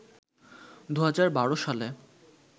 ২০১২ সালে